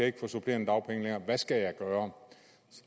ikke få supplerende dagpenge længere hvad skal jeg gøre